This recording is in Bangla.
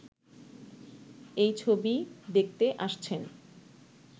এই ছবি দেখতে আসছেন।